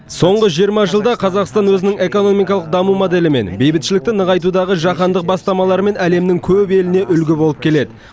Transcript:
соңғы жиырма жылда қазақстан өзінің экономикалық даму моделімен бейбітшілікті нығайтудағы жаһандық бастамаларымен әлемнің көп еліне үлгі болып келеді